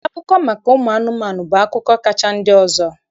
Akụkọ maka ụmụ anụmanụ bụ akụkọ kacha ndị ọzọ.